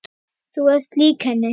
Þú ert lík henni.